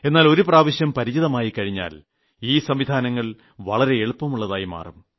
എന്നാൽ ഒരു പ്രാവശ്യം പരിചിതമായിക്കഴിഞ്ഞാൽ ഈ സംവിധാനങ്ങൾ വളരെ എളുപ്പമുള്ളതായിമാറും